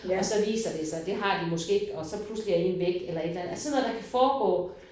Og så viser det sig det har de måske ikke og så pludselig er en væk eller et eller andet. Altså sådan noget der kan foregå